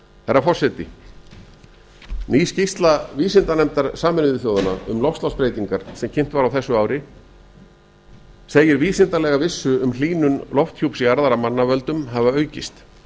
herra forseti ný skýrsla vísindanefndar sameinuðu þjóðanna um loftslagsbreytingar sem kynnt var á þessu ari segir vísindalega vissu um hlýnun lofthjúps jarðar af mannavöldum hafa aukist